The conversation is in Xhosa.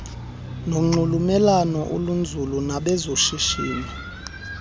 nonxulumelwano olunzulu nabezoshishino